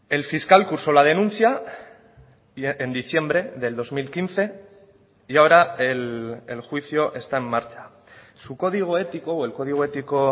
el fiscal cursó la denuncia en diciembre del dos mil quince y ahora el juicio está en marcha su código ético o el código ético